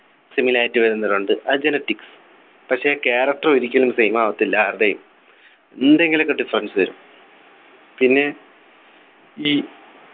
similarity വരുന്നവരുണ്ട് അത് genetics പക്ഷേ character ഒരിക്കലും same ആവത്തില്ല ആരുടേയും എന്തെങ്കിലുമൊക്കെ difference വരും പിന്നെ ഈ